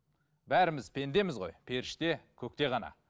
бәріміз пендеміз ғой періште көкте ғана